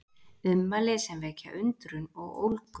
Ummæli sem vekja undrun og ólgu